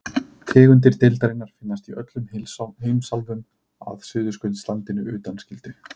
Tegundir deildarinnar finnast í öllum heimsálfum að Suðurskautslandinu undanskildu.